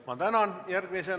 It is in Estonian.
Ma tänan!